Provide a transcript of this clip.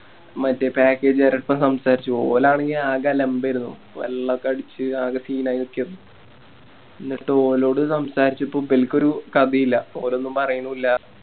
മറ്റേ Package കാരെടുത്തൊക്കെ സംസാരിച്ചു ഓലാണെങ്കി ആകെ ആലബരുന്നു വെള്ളൊക്കെ അടിച്ച് ആകെ Scene ആയി നിക്കാരന്ന് ന്നിട്ട് ഓലോട് സംസാരിച്ചപ്പോ ഇമ്പൽക്കൊരു കഥയില്ല ഓരോന്നും പറയുന്നുല്ല